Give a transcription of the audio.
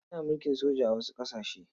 Ana mulkin soja a wasu ƙasashe.